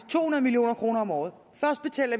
to hundrede million kroner om året